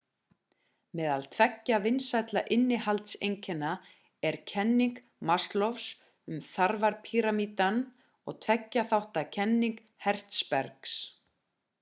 meðal tveggja vinsælla innihaldskenninga eru kenning maslows um þarfapíramídann og tveggja þátta kenning hertzbergs